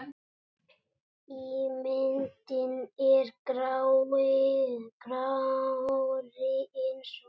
Ímyndin er grárri en svo.